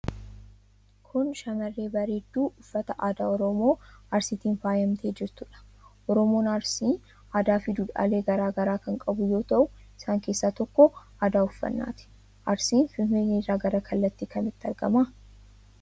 Kun shamarree bareedduu uffata aadaa Oromoo Arsiitiin faayamtee jirtuu dha. Oromoon Arsii aadaa fi dhuudhaalee garaagaraa kan qabu yoo ta'u, isaan keessaa tokko aadaa uffannaa ti. Arsiin Finfinnee irraa gara kamitti argama?